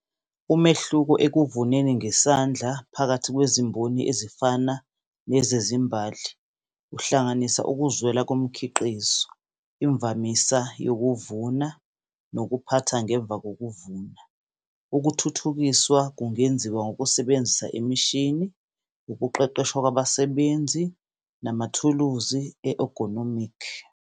Umehluko ekuvuneni ngesandla phakathi kwezimboni ezifana nezezimbali. Uhlanganisa ukuzwela komkhiqizo, imvamisa yokuvuna nokuphatha ngemva kokuvuna. Ukuthuthukiswa kungenziwa ngokusebenzisa imishini, ukuqeqeshwa kwabasebenzi namathuluzi e-egonomic.